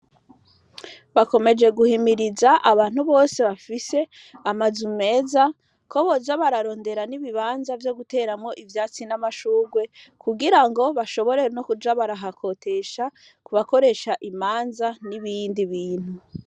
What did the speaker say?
Bakomeje guhimiriza abantu bose bafise amazu meza ko boza bararondera n'ibibanza vyo guteramwo ivyatsi n'amashurwe, kugira ngo bashobore no kuja barahakotesha kubakoresha imanza n'ibindi bintu.